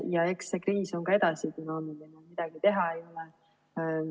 Ja eks see kriis on ka edasi dünaamiline, ega midagi teha ei ole.